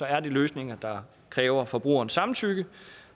er det løsninger der kræver forbrugerens samtykke